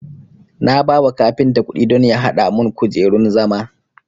Na bawa kafinta kudi don ya hada mun kujerun zama